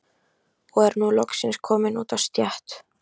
Og er nú loksins kominn út á stétt.